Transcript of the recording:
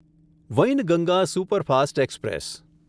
Wainganga superfast express